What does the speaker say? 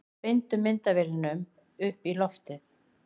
Beindu myndavélunum upp í loft